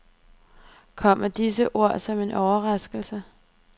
Kommer disse ord som en overraskelse.